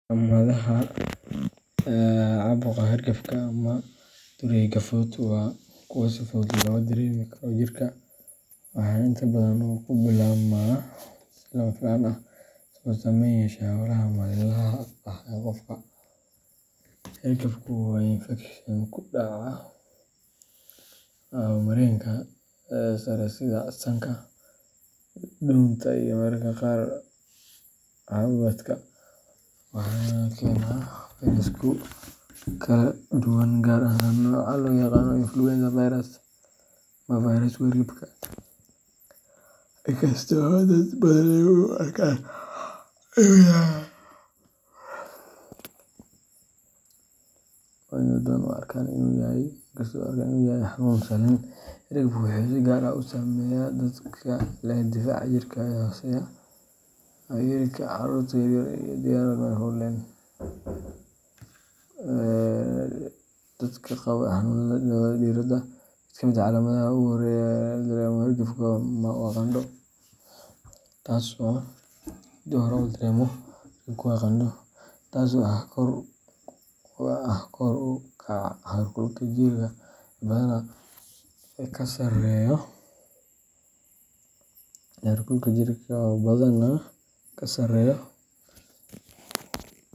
Daawooyinka laga sameeyo dirka ama geedaha dabiiciga ah waa laf dhabarta daawaynta dhaqanka waana kuwo muddo dheer loo adeegsaday daryeelka caafimaadka dadka. Waxay door weyn ka ciyaaraan daawaynta cudurrada kala duwan sida xanuunnada caloosha, madax xanuunka, qabowga, iyo xitaa xanuunada dhimirka. Dadka dhaqanka yaqaan waxay si qoto dheer u yaqaanaan sida loo ururiyo loona diyaariyo dirka si uu waxtar ugu yeesho jirka iyo maskaxda. Sidoo kale daawooyinkaan waxay kaalin weyn ka qaataan xoojinta difaaca jirka iyo nadiifinta dhiigga. Dirka dabiiciga ah waxaa kaloo loo adeegsadaa daawaynta nabarrada, sumowga, iyo xanuunnada maqaarka. Waxaa la rumeysan yahay in awoodda daawooyinkaasi ay tahay mid ka timaadda isku dhafka dabiiciga ah ee Ilaahay abuurtay oo aan lahayn wax kiimiko ah sida kuwa warshadaysan. Dhaqanka daawada dirka sidoo kale wuxuu dadka barayaa isku filnaansho iyo in laga faa’iideysto khayraadka dabiiciga ah ee deegaanka ku hareeraysan. Doorkooda waa mid muuqda waana sababta ay weli muhiim u yihiin xitaa xilligan casriga ah.